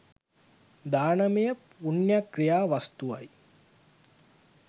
දානමය පුණ්‍ය ක්‍රියා වස්තුවයි.